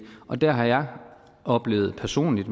og der har jeg oplevet personligt